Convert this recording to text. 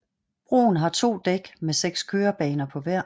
Broen har to dæk med 6 kørebaner på hver